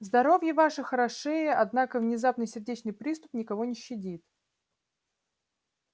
здоровье ваше хорошее однако внезапный сердечный приступ никого не щадит